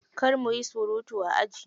Kar muyi surutu a aji.